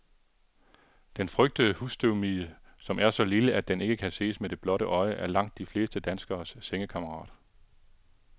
Den frygtede husstøvmide, som er så lille, at den ikke kan ses med det blotte øje, er langt de fleste danskeres sengekammerat.